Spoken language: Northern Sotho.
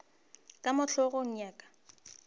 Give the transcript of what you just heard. ka mo hlogong ya ka